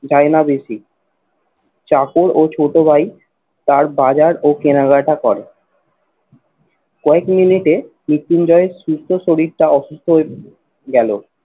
যায় না বেশি। চাকর ও ছোট ভাই তার বাজার ও কেনাকাটা করে কয়েক মিনিটে মৃত্যুঞ্জয়ের সুস্থ শরীরটা অসুস্থ হয়ে গেলো।